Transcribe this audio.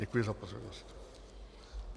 Děkuji za pozornost.